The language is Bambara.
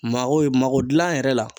Mago mago gilan yɛrɛ la